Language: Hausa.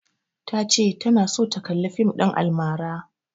Ta ce tana so ta kalla fim ɗin almara.